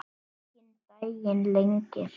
Enginn daginn lengir.